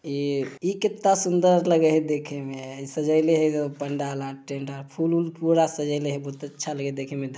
ये इ कते सुन्दर लगे है देखे में सजले है पंडाल आर टेंट आर फूल-वूल पूरा सजले है। बहुत अच्छा लगे है देखे में ध --